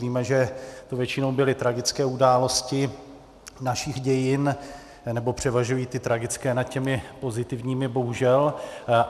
Víme, že to většinou byly tragické události našich dějin, anebo převažují ty tragické nad těmi pozitivními, bohužel.